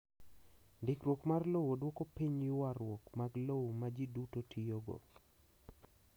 Ndikruok mar lowo dwoko piny ywarruok mag lowo ma ji duto tiyogo.